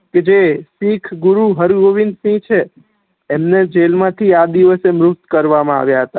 કે જે શીખ ગુરુ હરગોવિંદ સિહ છે એમને જેલ માથી આ દિવસે મુક્ત કરવા મા આવિયા હતા